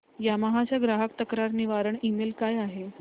Yamaha चा ग्राहक तक्रार निवारण ईमेल काय आहे